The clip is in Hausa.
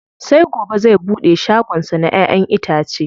Sai gobe zai buɗe shagon sa na ƴa'ƴan itace.